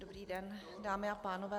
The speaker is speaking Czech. Dobrý den, dámy a pánové.